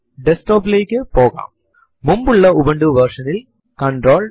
prompt ൽ L S space minus minus all എന്ന് type ചെയ്തു എന്റർ അമർത്തുക